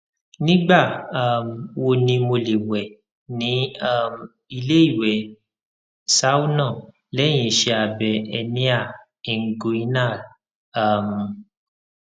nigba um wo ni mo le wẹ ni um ile iwẹ sauna lẹhin iṣẹ abẹ hernia inguinal um